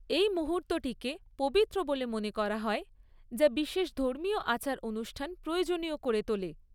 এই মুহূর্তটিকে পবিত্র বলে মনে করা হয়, যা বিশেষ ধর্মীয় আচার অনুষ্ঠান প্রয়োজনীয় করে তোলে।